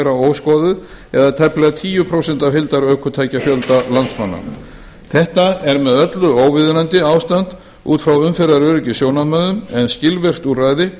óskoðuð eða tæplega tíu prósent af heildarökutækjafjölda landsmanna þetta er með öllu óviðunandi ástand út frá umferðaröryggissjónarmiðum en skilvirk úrræði